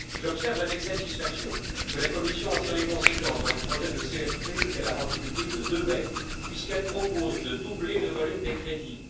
J'observe avec satisfaction que la Commission en tire les conséquences dans le projet de cadre financier pluriannuel qu'elle a rendu public le 2 mai, puisqu'elle propose de doubler le volume des crédits.